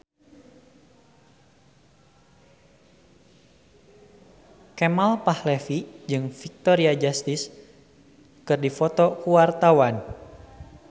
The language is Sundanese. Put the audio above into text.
Kemal Palevi jeung Victoria Justice keur dipoto ku wartawan